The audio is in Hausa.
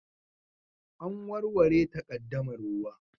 An warware takaddamar ruwa